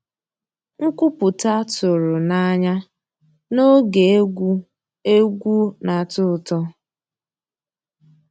Nkwúpụ́tá tụ̀rụ̀ n'ànyá n'ògé égwu égwu ná-àtọ́ ụtọ́.